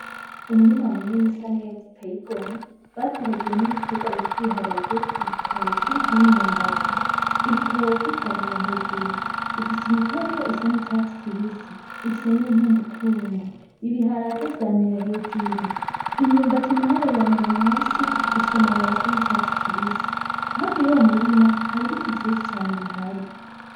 Umurima munini usa neza uteye igomwe bateragiyemwo ibiterwa bita ibiharage, ibitoke, imyumbati. Ibitoke vyamira hejuru bifise imitoto isa n'icatsi kibisi ifise n'intumbutumbu, Ibiharage vyamira hejuru, imyumbati nayo yamira musi ifise amababi asa n'icatsi kibisi, hafi y'uwo murima hari ibiti vyinshi cane bihari.